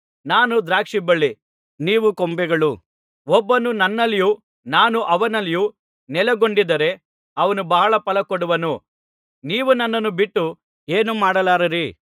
ನಾನು ದ್ರಾಕ್ಷಿಬಳ್ಳಿ ನೀವು ಕೊಂಬೆಗಳು ಒಬ್ಬನು ನನ್ನಲ್ಲಿಯೂ ನಾನು ಅವನಲ್ಲಿಯೂ ನೆಲೆಗೊಂಡಿದ್ದರೆ ಅವನು ಬಹಳ ಫಲ ಕೊಡುವನು ನೀವು ನನ್ನನ್ನು ಬಿಟ್ಟು ಏನೂ ಮಾಡಲಾರಿರಿ